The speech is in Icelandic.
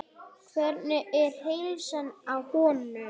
Hvernig er heilsan á honum?